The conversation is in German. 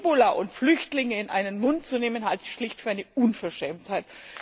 Und Ebola und Flüchtlinge in einen Mund zu nehmen, halte ich schlicht für eine Unverschämtheit.